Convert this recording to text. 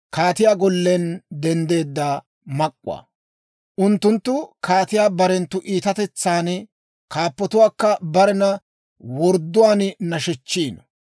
«Unttunttu kaatiyaa barenttu iitatetsan, kaappatuwaakka barena wordduwaan nashechchiino.